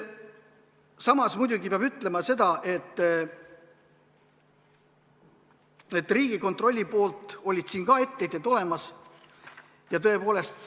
Samas muidugi peab ütlema seda, et Riigikontrollil olid siin ka etteheited olemas.